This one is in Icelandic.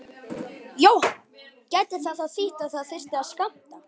Jóhann: Gæti það þá þýtt að það þyrfti að skammta?